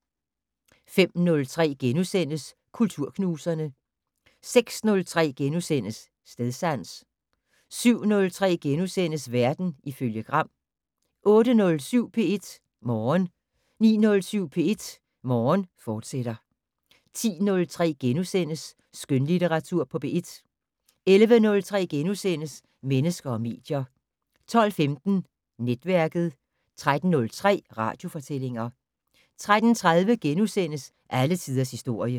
05:03: Kulturknuserne * 06:03: Stedsans * 07:03: Verden ifølge Gram * 08:07: P1 Morgen 09:07: P1 Morgen, fortsat 10:03: Skønlitteratur på P1 * 11:03: Mennesker og medier * 12:15: Netværket 13:03: Radiofortællinger 13:30: Alle tiders historie *